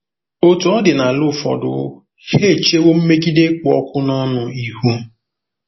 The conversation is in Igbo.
Otú ọ dị n'ala ụfọdụ, ha echewo mmegide kpụ ọkụ n'ọnụ ihu.